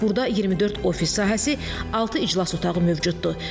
Burda 24 ofis sahəsi, altı iclas otağı mövcuddur.